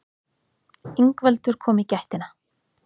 Ingveldur kom í gættina.